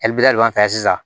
sisan